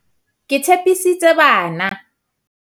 ke tshepisitse bana